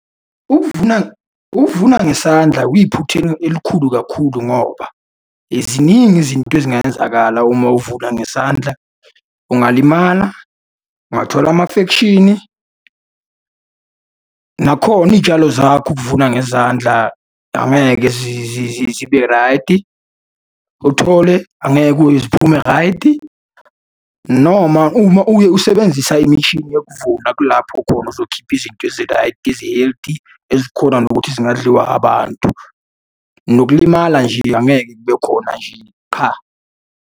Ukuvuna, ukuvuna ngesandla kuyiphutha elikhulu kakhulu, ngoba ziningi izinto ezingenzakala uma uvuna ngesandla. Ungalimala, ungathola amafekshini, nakhona iy'tshalo zakho ukuvuna ngezandla angeke zibe raydi. Uthole, angeke kuye ziphume raydi, noma uma uye usebenzisa imishini yokuvuna kulapho khona uzokhipha izinto eziraydi, ezi-healthy, ezikhona nokuthi zingadliwa abantu. Nokulimala nje, angeke kube khona nje qha.